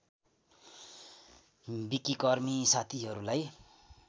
विकिकर्मी साथीहरूलाई